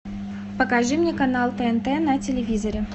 покажи мне канал тнт на телевизоре